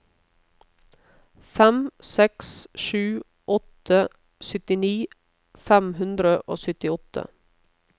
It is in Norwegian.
fem seks sju åtte syttini fem hundre og syttiåtte